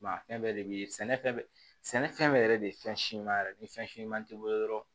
a fɛn bɛɛ de bi sɛnɛ fɛn bɛɛ sɛnɛfɛn bɛɛ yɛrɛ de ye fɛn si ɲuman yɛrɛ de ni fɛn siman t'i bolo dɔrɔn